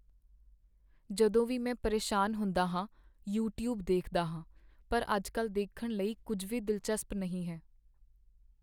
ਜਦੋਂ ਵੀ ਮੈਂ ਪਰੇਸ਼ਾਨ ਹੁੰਦਾ ਹਾਂ, ਯੂਟਿਊਬ ਦੇਖਦਾ ਹਾਂ ਪਰ ਅੱਜਕੱਲ੍ਹ ਦੇਖਣ ਲਈ ਕੁੱਝ ਵੀ ਦਿਲਚਸਪ ਨਹੀਂ ਹੈ